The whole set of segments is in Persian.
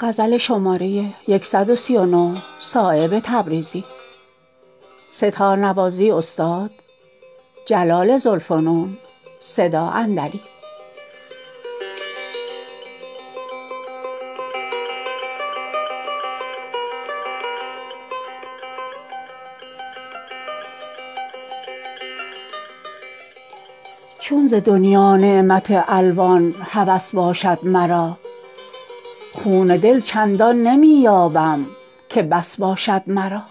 چون ز دنیا نعمت الوان هوس باشد مرا خون دل چندان نمی یابم که بس باشد مرا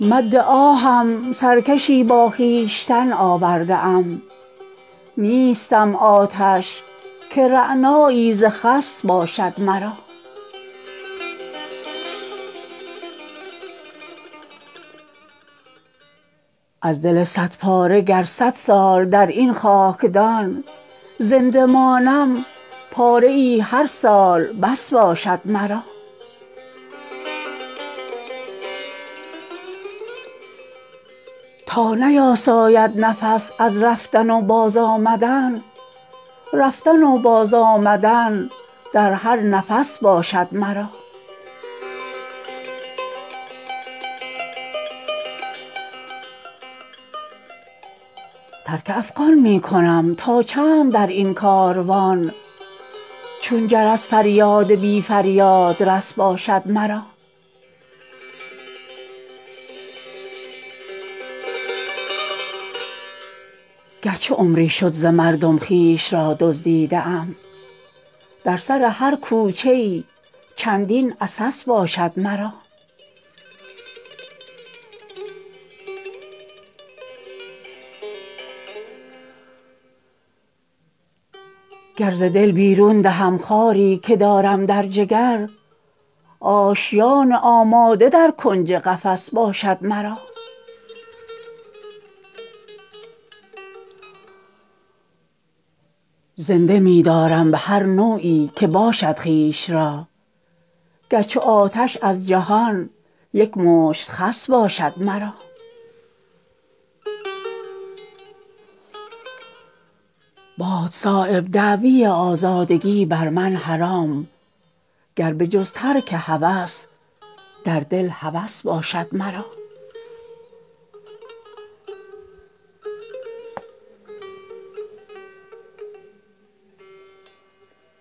مد آهم سرکشی با خویشتن آورده ام نیستم آتش که رعنایی ز خس باشد مرا از دل صد پاره گر صد سال در این خاکدان زنده مانم پاره ای هر سال بس باشد مرا تا نیاساید نفس از رفتن و باز آمدن رفتن و باز آمدن در هر نفس باشد مرا ترک افغان می کنم تا چند در این کاروان چون جرس فریاد بی فریادرس باشد مرا گرچه عمری شد ز مردم خویش را دزدیده ام در سر هر کوچه ای چندین عسس باشد مرا گر ز دل بیرون دهم خاری که دارم در جگر آشیان آماده در کنج قفس باشد مرا زنده می دارم به هر نوعی که باشد خویش را گر چو آتش از جهان یک مشت خس باشد مرا باد صایب دعوی آزادگی بر من حرام گر به جز ترک هوس در دل هوس باشد مرا